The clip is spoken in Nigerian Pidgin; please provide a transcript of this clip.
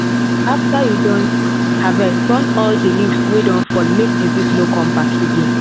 after you don harvest burn all the leaves wey fall make disease no come back again